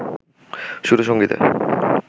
সুর ও সংগীতে